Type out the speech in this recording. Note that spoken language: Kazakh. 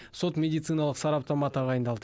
сот медициналық сараптама тағайындалды